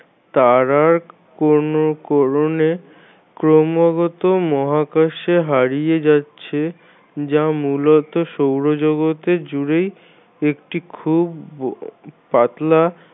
তারার ক্রমাগত মহাকাশে হারিয়ে যাচ্ছে যা মূলত সৌরজগতে জুড়েই একটি খুব পাতলা